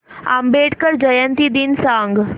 आंबेडकर जयंती दिन सांग